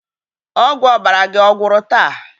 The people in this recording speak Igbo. Ọgwụ ọbara gị ọ̀gwụ́rụ taa?